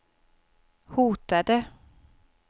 hotade